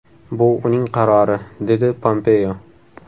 Bu uning qarori”, dedi Pompeo.